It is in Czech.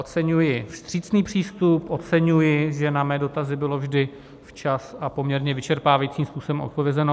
Oceňuji přísný přístup, oceňuji, že na mé dotazy bylo vždy včas a poměrně vyčerpávajícím způsobem odpovězeno.